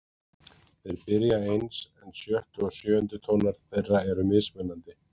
Þeir byrja eins en sjöttu og sjöundu tónar þeirra eru mismunandi.